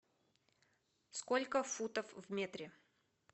сколько футов в метре